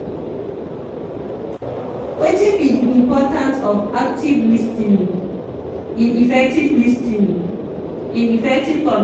wetin be di importance of active lis ten ing in effective lis ten ing in effective communication?